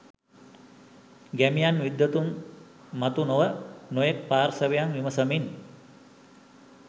ගැමියන් විද්වතුන් මතු නොව නොයෙක් පාර්ශ්වයන් විමසමින්